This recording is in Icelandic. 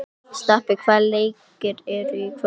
Stapi, hvaða leikir eru í kvöld?